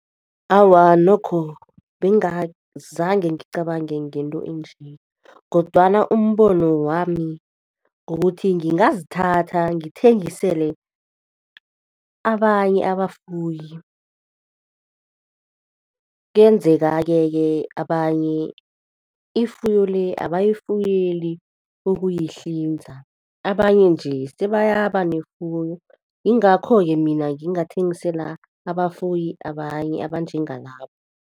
Awa, nokho bengazange ngicabange ngento enje kodwana umbono wami kukuthi, ngingazithatha ngithengisele abanye abafuyi. Kuyenzeka-ke ke abanye ifuyo le abayifuyeli ukuyihlinza, abanye nje sebayaba nefuyo, yingakho-ke mina ngingathengisela abafuyi abanye abanjengalabo.